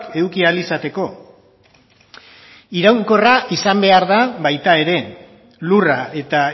eduki ahal izateko iraunkorra izan behar da baita ere lurra eta